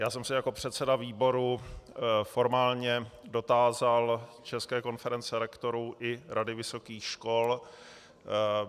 Já jsem se jako předseda výboru formálně dotázal České konference rektorů i Rady vysokých škol.